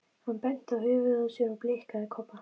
Hann benti á höfuðið á sér og blikkaði Kobba.